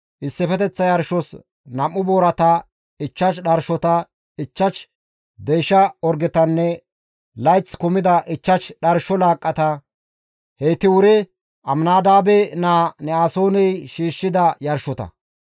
issifeteththa yarshos 2 boorata, 5 dharshota, 5 deysha orgetanne layth kumida 5 dharsho laaqqata; heyti wuri Aminadaabe naa Ne7asooney shiishshida yarshota.